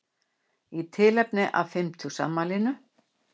Í tilefni af fimmtugsafmælinu